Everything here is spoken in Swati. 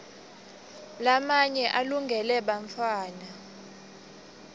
lamaye alungele bantfuara